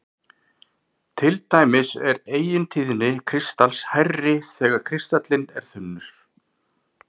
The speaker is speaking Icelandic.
Til dæmis er eigintíðni kristals hærri þegar kristallinn er þunnur.